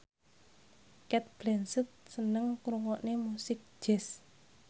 Cate Blanchett seneng ngrungokne musik jazz